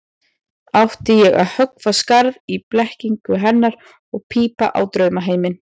Átti ég að höggva skarð í blekkingu hennar og pípa á draumaheiminn?